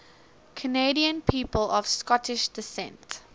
canadian people of scottish descent